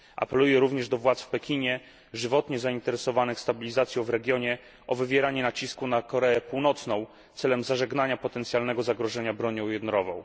Apeluję również do władz w Pekinie żywotnie zainteresowanych stabilizacją w regionie o wywieranie nacisku na Koreę Północną, celem zażegnania potencjalnego zagrożenia bronią jądrową.